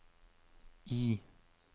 I